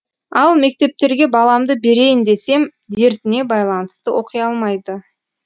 ал мектептерге баламды берейін десем дертіне байланысты оқи алмайды